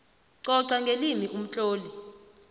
coca ngelimi umtloli